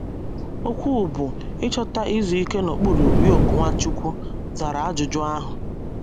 Okwu bụ́ “ Ịchọta Izu Ike n’Okpuru Yoke Nwachukwu ” zara ajụjụ ahụ.